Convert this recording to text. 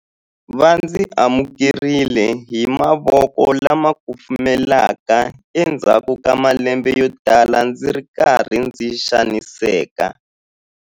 Va ndzi amukerile hi mavoko lama kufumelaka endzhaku ka malembe yotala ndzi ri karhi ndzi xaniseka.